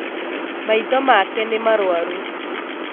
Maitho make nĩmarwaru